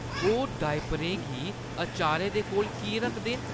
ओह् डायपरें गी अचारै दे कोल की रखदे न?